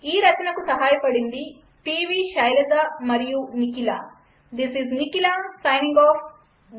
ఈ రచనకు సహాయపడింది -పివిశైలజఅనువాదంచేసిన వారి పేరు మరియు రికార్డ్ చేసినవారు ప్రదేశం పేరునుండి